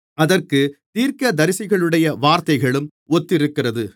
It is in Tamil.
அதற்குத் தீர்க்கதரிசிகளுடைய வார்த்தைகளும் ஒத்திருக்கிறது